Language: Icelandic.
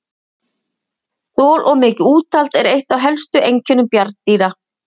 Þol og mikið úthald er eitt af helstu einkennum bjarndýra.